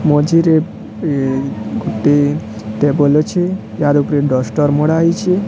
ମଝିରେ ଏ ଗୋଟେ ଟେବୁଲ୍ ଅଛି ଆର୍ ଉପରୁ ଡସ୍ଟର୍ ମରା ହେଇଛି।